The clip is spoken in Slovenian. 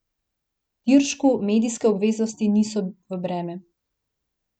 Tiršku medijske obveznosti niso v breme.